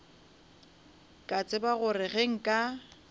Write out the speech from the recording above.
ka tseba gore ge nka